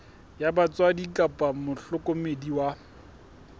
wa batswadi kapa mohlokomedi wa